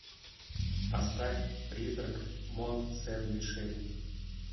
поставь призрак мон сен мишель